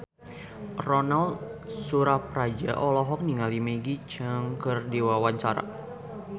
Ronal Surapradja olohok ningali Maggie Cheung keur diwawancara